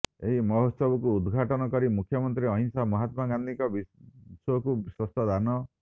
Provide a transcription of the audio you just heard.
ଏହି ମହୋତ୍ସବକୁ ଉଦ୍ଘାଟନ କରି ମୁଖ୍ୟମନ୍ତ୍ରୀ ଅହିଂସା ମହାତ୍ମା ଗାନ୍ଧିଙ୍କ ବିଶ୍ବକୁ ଶ୍ରେଷ୍ଠ ଦାନ